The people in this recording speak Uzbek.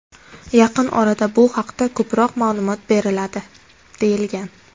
Yaqin orada bu haqda ko‘proq ma’lumot beriladi”, deyilgan.